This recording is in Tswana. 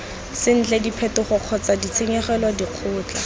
sentle diphetogo kgotsa ditshenyegelo dikgato